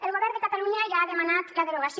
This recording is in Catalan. el govern de catalunya ja ha demanat la derogació